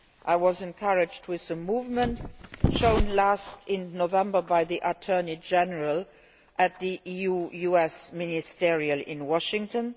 I was encouraged with the movement shown last November by the Attorney General at the EU US Ministerial meeting in Washington.